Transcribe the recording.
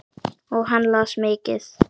Og hann las mikið.